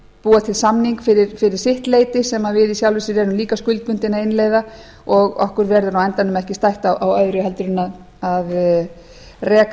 búa til samning fyrir sitt leyti sem við í sjálfu sér erum líka skuldbundin að innleiða og okkur verður á endanum ekki stætt á öðru en að reka